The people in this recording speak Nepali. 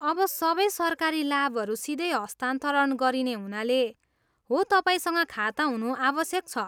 अब सबै सरकारी लाभहरू सिधै हस्तान्तरण गरिने हुनाले, हो, तपाईँसँग खाता हुनु आवश्यक छ।